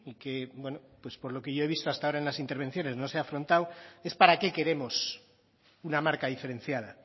que bueno pues por lo que yo he visto hasta ahora en las intervenciones no se ha afrontado es para qué queremos una marca diferenciada